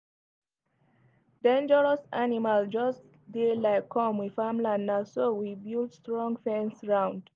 dangeros animals jus dey like com we farmland naso we built strong fence round